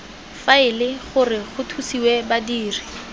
faele gore go thusiwe badiri